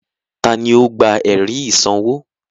Tani ó gba ẹ̀rí ìsanwó?